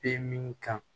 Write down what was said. Be min kan